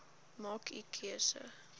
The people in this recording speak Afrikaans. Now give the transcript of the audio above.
maak u keuse